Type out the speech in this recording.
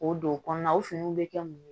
K'o don o kɔnɔna o finiw bɛ kɛ mun ye